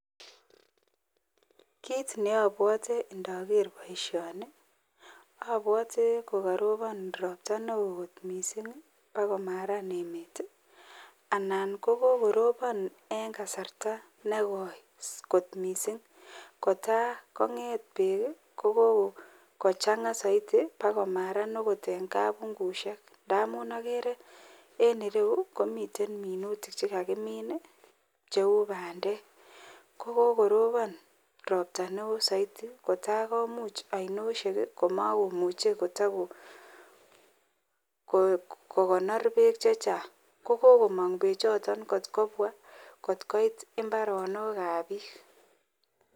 Kit neobwote boisioni abwote ko karoo on robtaa neo kot missing bacon maran emet anan kokorobon en kasarta nekoii kot missing kota konyetbeek ii kochanga soiti bako maran akot en kabungushek indamun akere en yuu komiten minutik chekakimin ii cheu bandek kokokorobon to take neo soiti kota komuch ainoshek I komokomuche kokonor beek chechang ko kokomong bek croton kobwa kot koit imparonok ab bik .